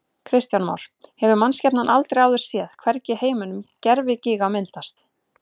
Kristján Már: Hefur mannskepnan aldrei áður séð, hvergi í heiminum, gervigíga myndast?